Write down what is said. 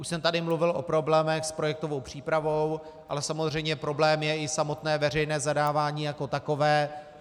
Už jsem tady mluvil o problémech s projektovou přípravou, ale samozřejmě problém je i samotné veřejné zadávání jako takové.